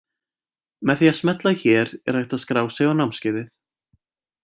Með því að smella hér er hægt að skrá sig á námskeiðið.